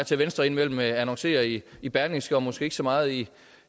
til at venstre indimellem annoncerer i i berlingske og måske ikke så meget i